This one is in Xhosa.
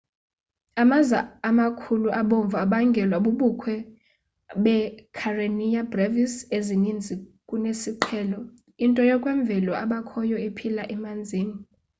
amaza amakhulu abomvu abangelwa bubukho beekarenia brevis ezininzi kunesiqhelo into yokwemvelo ebakhoyo ephila emanzini